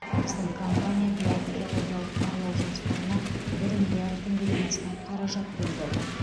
біздің компания биыл геологиялық барлау жұмыстарына бір миллиард теңгеден астам қаражат бөлді